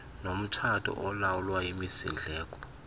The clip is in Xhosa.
nomtshato olawulwa yimisindleko